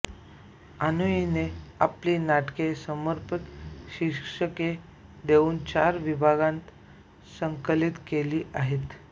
आनुईयने आपली नाटके समर्पक शीर्षके देऊन चार विभागांत संकलित केली आहेत